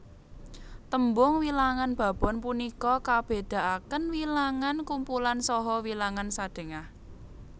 Tembung wilangan babon punika kabedakaken wilangan kumpulan saha wilangan sadhengah